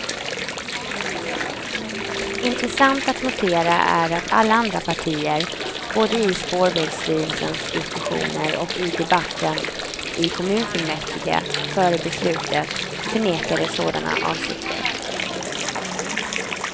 Intressant att notera är att alla andra partier, både i spårvägsstyrelsens diskussioner och i debatten i kommunfullmäktige före beslutet, förnekade sådana avsikter.